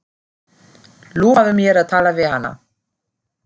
Lofaðu mér að tala við hana.